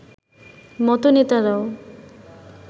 মতো নেতারাও